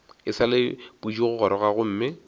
e sa le pudigoroga gomme